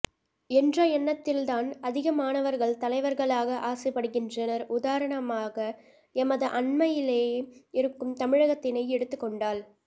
என்ற எண்ணத்தில்தான் அதிகமாணவர்கள் தலைவர்களாக ஆசைப்படுகின்றனர் உதரணமாக எமது அண்மையிலே இருக்கும் தமிழகத்தினை எடுத்துக்கொண்டால்